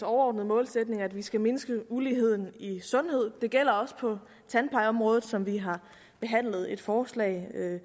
overordnede målsætninger at vi skal mindske uligheden i sundhed det gælder også på tandplejeområdet som vi har behandlet et forslag